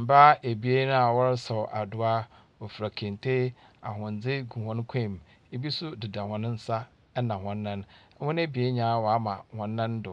Mbaa ebien a wɔresaw adowa. Wofira kente. Ahwendze hɔn kɔn mu. Bi nso deda hɔn nsa na hɔn nan. Hɔn ebien nyinaa wɔama hɔn nando.